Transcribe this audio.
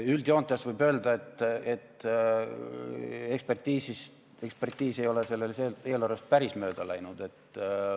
Üldjoontes võib öelda, et ekspertiis ei ole sellest eelarvest päris mööda läinud.